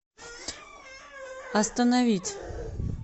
остановить